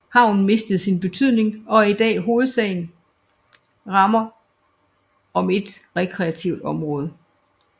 Havnen mistede sin betydning og er i dag hovedsagen rammer om et rekreativt område